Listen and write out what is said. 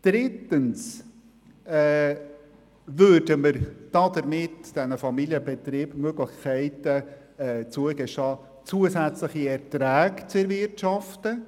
Drittens würden wir damit den Familienbetrieben die Möglichkeit zugestehen, zusätzliche Erträge zu erwirtschaften.